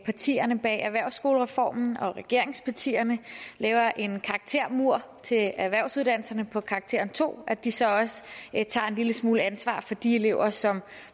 partierne bag erhvervsskolereformen og regeringspartierne laver en karaktermur til erhvervsuddannelserne på karakteren to at de så også tager en lille smule ansvar for de elever som